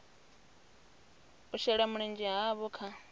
u shela mulenzhe havho kha